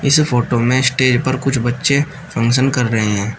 इस फोटो में स्टेज पर कुछ बच्चे फंक्शन कर रहे हैं।